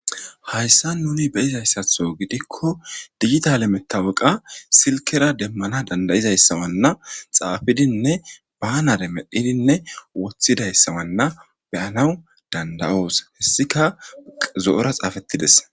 Haysan nuni be'zasatho giko digitale matoqa silkera deman danda'izasa mala xafidinne banale medhidinne wothidaysa mala beyaw danda'os hesikka zo'ora xafetidese